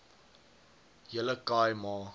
hele khai ma